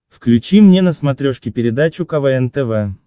включи мне на смотрешке передачу квн тв